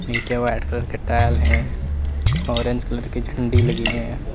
नीचे white colour के tile हैं ऑरेंज कलर की झंडी लगी है।